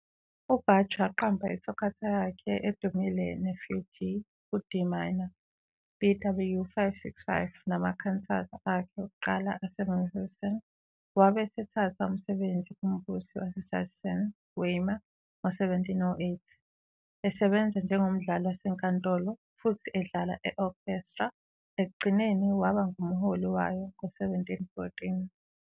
UBach waqamba iToccata yakhe edumile neFugue kuD minor, BWV 565, nama-cantata akhe okuqala eseMühlhausen. Wabe esethatha umsebenzi kuMbusi waseSachsen-Weimar ngo-1708, esebenza njengomdlali wasenkantolo futhi edlala e-orchestra, ekugcineni waba ngumholi wayo ngo-1714.